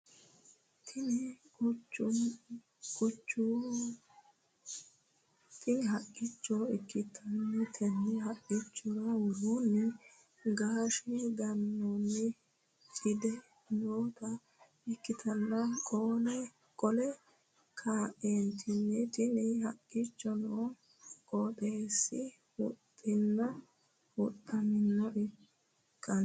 Tini haqqichcho ikkitanna tenne haqqichchora woroonnino gaashe ganoonni cide noota ikkitanna qole kaeenttinni tini haqqichcho noo qootesise huxxunni huxxaminaha ikano